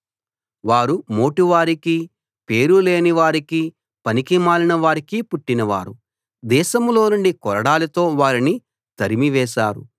వారు మోటు వారికి పేరు లేని పనికి మాలిన వారికి పుట్టినవారు దేశంలోనుండి కొరడాలతో వారిని తరిమి వేశారు